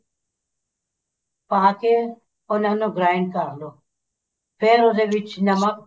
ਪਾ ਕੇ ਉਹਨਾ ਨੂੰ grind ਕਰਲੋ ਫ਼ੇਰ ਉਹਦੇ ਵਿੱਚ ਨਮਕ